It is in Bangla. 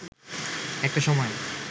একটা সময়